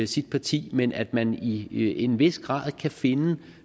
sit parti men at man i en vis grad kan finde